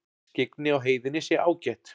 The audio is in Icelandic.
Skyggni á heiðinni sé ágætt